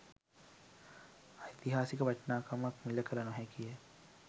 ඓතිහාසික වටිනාකම මිළ කළ නොහැකි ය